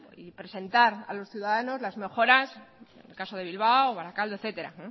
y presentar a los ciudadanos las mejoras en el caso de bilbao o barakaldo etcétera